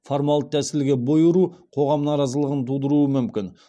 формалды тәсілге бой ұру қоғам наразылығын тудыруы мүмкін